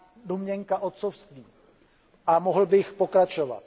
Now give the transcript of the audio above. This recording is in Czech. domněnka otcovství a mohl bych pokračovat.